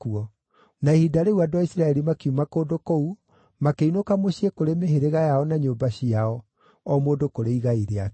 Na ihinda rĩu andũ a Isiraeli makiuma kũndũ kũu, makĩinũka mũciĩ kũrĩ mĩhĩrĩga yao na nyũmba ciao, o mũndũ kũrĩ igai rĩake.